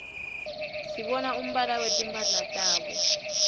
sibona umbala wetimphala tabo